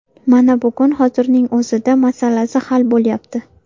Mana bugun, hozirning o‘zida masalasi hal bo‘lyapti.